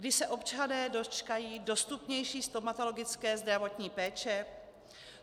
Kdy se občané dočkají dostupnější stomatologické zdravotní péče?